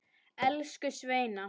Elsku Sveina.